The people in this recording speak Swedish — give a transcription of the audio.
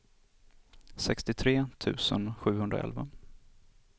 sextiotre tusen sjuhundraelva